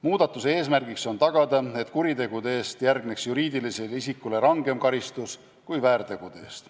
Muudatuse eesmärk on tagada, et kuritegude eest järgneks juriidilisele isikule rangem karistus kui väärtegude eest.